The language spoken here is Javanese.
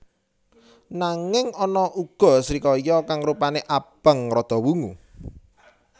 Nanging ana uga srikaya kang rupané abang rada wungu